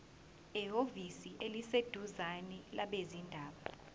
ehhovisi eliseduzane labezindaba